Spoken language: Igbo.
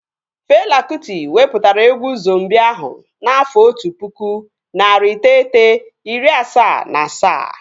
Fela Kụti wepụtara egwu Zombii ahụ n'afọ otu pụkụ, narị iteghete, iri asaa na asaa